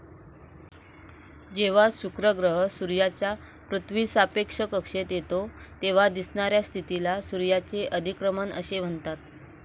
जेवा शुक्र ग्रह सूर्याच्या पृथ्वीसापेक्ष कक्षेत यतो, तेव्हा दिसणाऱ्या स्थितीला शुक्राचे अधिक्रमण असे म्हणतात.